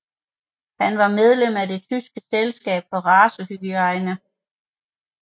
Han var medlem af Det tyske selskab for racehygiejne